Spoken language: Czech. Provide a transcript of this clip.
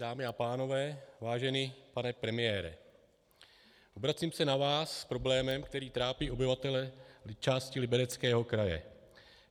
Dámy a pánové, vážený pane premiére, obracím se na vás s problémem, který trápí obyvatele části Libereckého kraje.